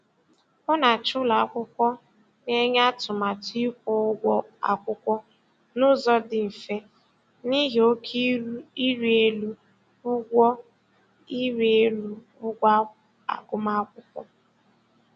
Ọ na-achọ ụlọakwụkwọ na-enye atụmatụ ịkwụ ụgwọ akwụkwọ n'ụzọ dị mfe n'ihi oke iri elu ụgwọ iri elu ụgwọ agụmakwụkwọ.